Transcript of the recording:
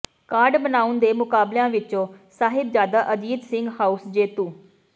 card ਬਣਾਉਣ ਦੇ ਮੁਕਾਬਲਿਆਂ ਵਿੱਚੋਂ ਸਾਹਿਬਜ਼ਾਦਾ ਅਜੀਤ ਸਿੰਘ ਹਾਊਸ ਜੇਤੂ